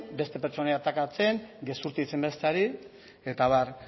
beste pertsonei atakatzen gezurti deitzen besteari eta abar